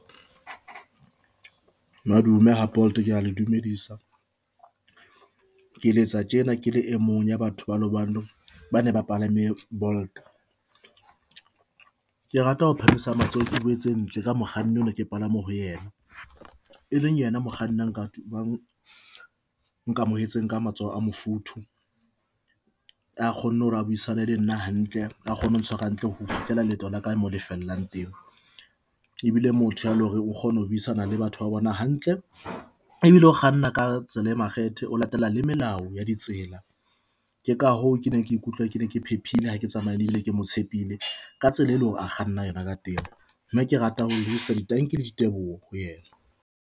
Madume ha Bolt ke a le dumedisa ke letsa tjena ke le e mong ya batho ba bane ba palame Bolt. Ke rata ho phamisa matsoho, ke boletseng tje ka mokganni oo ne ke palame ho ena, e leng ena mokganni na nkamoetseng ka matsoho a mofuthu. A kgonne hore a buisana le nna hantle, a kgone ho ntshware hantle ho fihlela leeto la ka mo le fellang teng ebile motho ya leng hore o kgone ho buisana le batho ba bona hantle ebile o kganna ka tsela e makgethe, o latela le melao ya ditsela. Ke ka hoo ke ne ke ikutlwa ke ne ke phephile ha ke tsamaye le ebile ke mo tshepile ka tsela eleng hore a kganna yona ka teng mme ke rata ho lebisa tanki le diteboho ho yena.